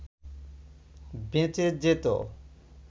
বেঁচে যেত